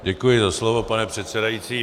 Děkuji za slovo, pane předsedající.